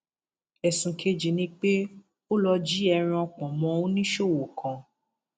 ẹsùn kejì ni pé ó lọọ jí ẹran pọnmọ oníṣòwò kan